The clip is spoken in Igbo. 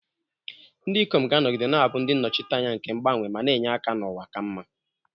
Ndị ikom, ga-anọgide na-abụ ndị nnọchiteanya nke mgbanwe ma na-enye aka na ụwa ka mma.